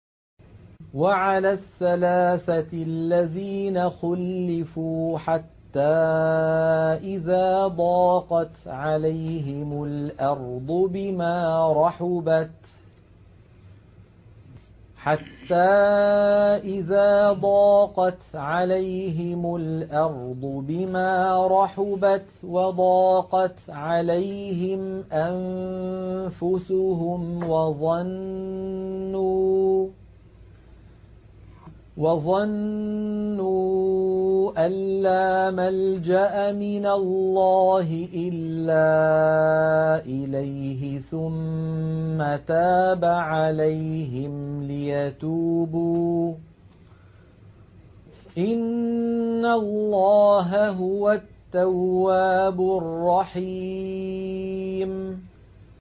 وَعَلَى الثَّلَاثَةِ الَّذِينَ خُلِّفُوا حَتَّىٰ إِذَا ضَاقَتْ عَلَيْهِمُ الْأَرْضُ بِمَا رَحُبَتْ وَضَاقَتْ عَلَيْهِمْ أَنفُسُهُمْ وَظَنُّوا أَن لَّا مَلْجَأَ مِنَ اللَّهِ إِلَّا إِلَيْهِ ثُمَّ تَابَ عَلَيْهِمْ لِيَتُوبُوا ۚ إِنَّ اللَّهَ هُوَ التَّوَّابُ الرَّحِيمُ